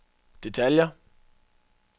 detaljer